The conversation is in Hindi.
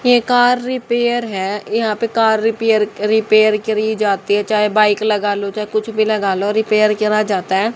ये कार रिपेयर है यहां पे कार रिपेयर रिपेयर करी जाती है चाहे बाइक लगा लो चाहे कुछ भी लगा लो रिपेयर करा जाता है।